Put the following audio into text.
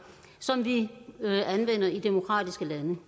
som vi anvender i demokratiske lande